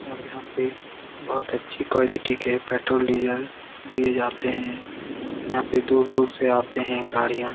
और यहाँ पे बहुत अच्छी क्वालिटी के पेट्रोल डीज़ल दिए जाते हैं यहाँ पे दूर-दूर से आते हैं गाडियाँ।